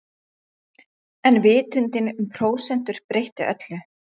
En vitundin um prósentur breytti öllu.